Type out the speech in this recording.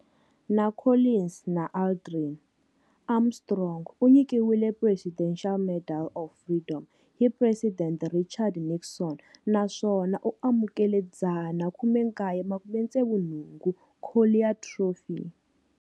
Na Collins na Aldrin, Armstrong u nyikiwile Presidential Medal of Freedom hi President Richard Nixon naswona u amukele 1969 Collier Trophy.